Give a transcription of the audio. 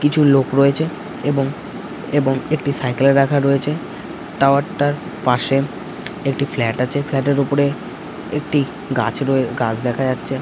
কিছু লোক রয়েছে এবং এবং একটি সাইকেল রাখা রয়েছে টাওয়ার পাশেএকটি ফ্লাট আছে ফ্ল্যাটের ওপরে একটি গাছ রয়ে গাছ দেখা যাচ্ছে ।